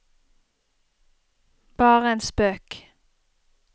bare en spøk